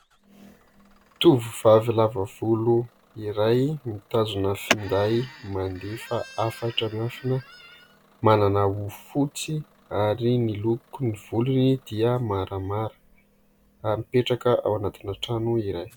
Tovovavy lava volo iray mitazona finday, mandefa hafatra miafina, manana hoho fotsy ary miloko ny volony dia maramara ary mipetraka ao anatina trano iray.